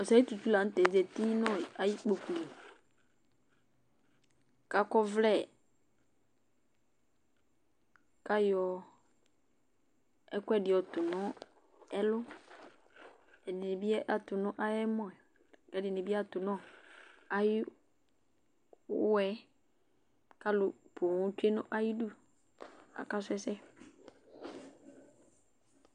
osei tutu la nʊtɛ zati nʊ ayʊ ikpoku yɛ li, kʊ akɔ ɔvlɛ, kʊ ayɔ ɛkuɛdɩ yɔ tʊ nʊ ɛlʊ, ɛkʊɛdɩnɩ tʊ nʊ ayʊ ɛmɔ yɛ kʊ ɛdɩnɩ tʊ nʊ ayʊ ʊwɔwanɩ, kʊ alʊ poo tsue nʊ ayidu, kʊ akasu ɛsɛ